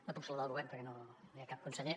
no puc saludar el govern perquè no hi ha cap conseller